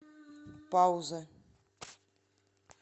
пауза